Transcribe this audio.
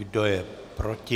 Kdo je proti?